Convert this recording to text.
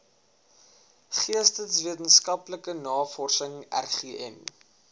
geesteswetenskaplike navorsing rgn